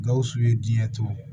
Gawusu ye diɲɛ to